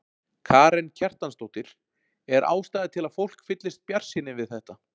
Karen Kjartansdóttir: Er ástæða til að fólk fyllist bjartsýni við þetta?